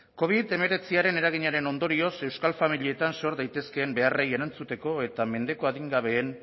covid hemeretziren eraginaren ondorioz euskal familietan zor daitezkeen beharrei erantzuteko eta mendeko adingabeen